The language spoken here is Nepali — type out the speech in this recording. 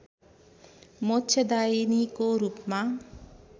मोक्षदायिनीको रूपमा